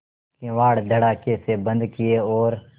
किवाड़ धड़ाकेसे बंद किये और